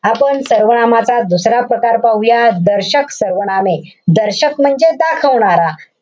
आपण सर्वनामाचा दुसरा प्रकार पाहूया. दर्शक सर्वनामे. दर्शक म्हणजे दाखवणारा.